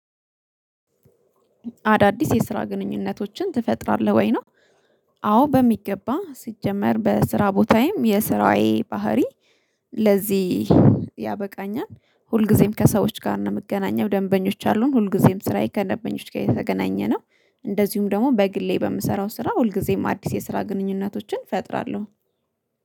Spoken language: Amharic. አዳዲስ የስራ ግንኙነቶችን ትፈጥራለህ ወይ ነው አዎ በሚገባ፤ ሲጀመር በስራ ቦታዬም የስራዬ ባህሪ ለዚህ ያበቃኛል። ሁልጊዜም ከሰዎች ጋር ነው የምገናኘው ደንበኞች አሉን ሁልጊዜም ስራዬ ከደንበኞች ጋር የተገናኘ ነው። እንደዚሁም ደግሞ በግሌ በምሰራው ስራ ሁልጊዜም አዲስ የስራ ግንኙነቶችን እፈጥራለሁ።